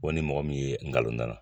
ni mɔgɔ min ye nkalon da n na.